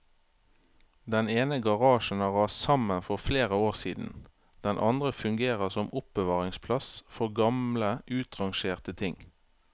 Den ene garasjen har rast sammen for flere år siden, den andre fungerer som oppbevaringsplass for gamle utrangerte ting.